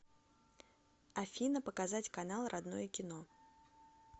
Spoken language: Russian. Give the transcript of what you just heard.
афина показать канал родное кино